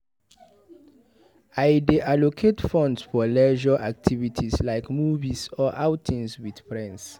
I dey allocate funds for leisure activities like movies or outings with friends.